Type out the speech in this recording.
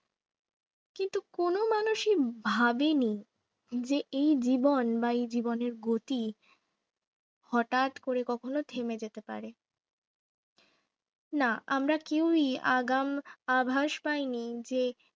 ভাবিনি যে এই জীবন বা এই জীবনের গতি হঠাৎ করে কখনো থেমে যেতে পারে না আমরা কেউই আগাম আভাস পাইনি যে